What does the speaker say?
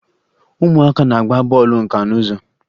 Ụmụaka na-agba bọọlụ nka n'ụzọ